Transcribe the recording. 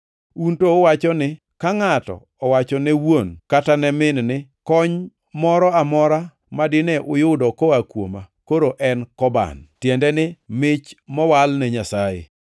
Un to uwacho ni ka ngʼato owacho ne wuon kata ne min ni, ‘Kony moro amora ma dine uyudo koa kuoma koro en Koban’ (tiende ni, mich mowal ne Nyasaye),